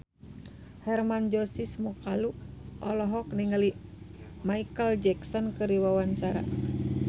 Hermann Josis Mokalu olohok ningali Micheal Jackson keur diwawancara